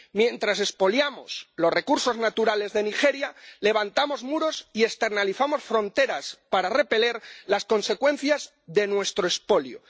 Mientras expoliamos los recursos naturales de Nigeria, levantamos muros y externalizamos fronteras para repeler las consecuencias de nuestro expolio